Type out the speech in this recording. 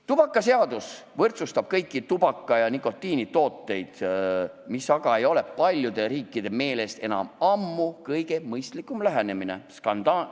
Tubakaseadus võrdsustab kõik tubaka- ja nikotiinitooted, mis aga ei ole paljude riikide meelest enam ammu kõige mõistlikum lähenemine.